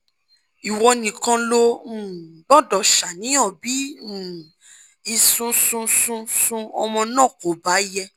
ìwọ nìkan ló um gbọ́dọ̀ ṣàníyàn bí um ìsúnsúnsúnsún ọmọ náà kò bá yẹ